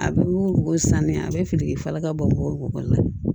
A bɛ wo san ni a bɛ fili i falaka bɔ la